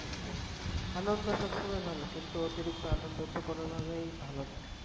আনন্দ সবসময় ভালো কিন্তু অতিরিক্ত আনন্দ তো কোনো ভাবেই ভালো নয়।